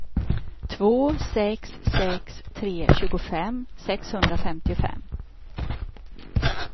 två sex sex tre tjugofem sexhundrafemtiofem